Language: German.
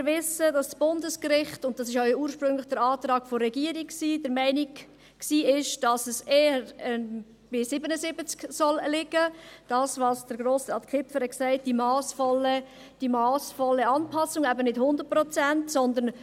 Wir wissen, dass das Bundesgericht – und dies war ursprünglich der Antrag der Regierung – der Meinung war, dass es eher bei 77 Prozent liegen sollte, wie es Grossrat Kipfer gesagt hat mit der «massvollen Anpassung», eben nicht bei 100 Prozent.